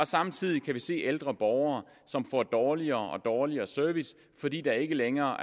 samtidig se ældre borgere som får dårligere og dårligere service fordi der ikke længere